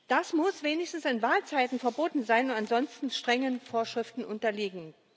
Das muss wenigstens in Wahlzeiten verboten sein und ansonsten strengen Vorschriften unterliegen.